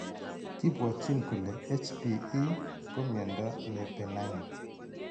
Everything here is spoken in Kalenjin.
Kibwotyin kole HbE ko mnyando ne benign.